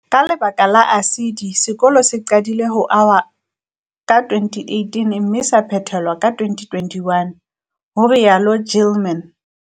"Ka lebaka la ASIDI, sekolo se qadile ho ahwa ka 2018 mme sa phethelwa ka 2021," ho rialo Gilman.